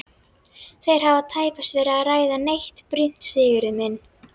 Þeir hafa tæpast verið að ræða neitt brýnt Sigurður minn.